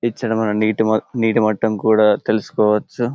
ఇచ్చట మనము నీటి మఠం కూడా తెలుసుకోవచ్చు.